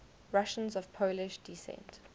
russians of polish descent